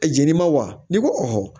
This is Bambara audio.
A jeninni ma wa ni ko